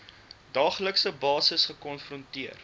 daaglikse basis gekonfronteer